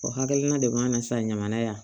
O hakilina de b'an na sa ɲaman yan